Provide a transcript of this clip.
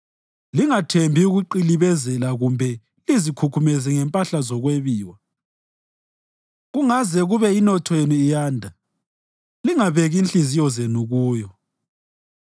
Lingathembi ukuqilibezela kumbe lizikhukhumeze ngempahla zokwebiwa; kungaze kube inotho yenu iyanda, lingabeki inhliziyo zenu kuyo.